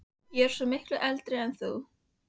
Ég er svo miklu eldri en þú